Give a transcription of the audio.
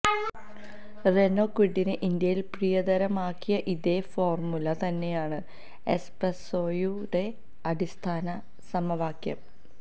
Renault ക്വിഡിനെ ഇന്ത്യയിൽ പ്രിയതരമാക്കിയ ഇതേ ഫോർമുല തന്നെയാണ് എസ്പ്രേസ്സോയുടെയും അടിസ്ഥാന സമവാക്യം